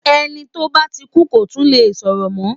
Ẹni tó ba ti kú kò tún le sọ̀rọ̀ mọ́.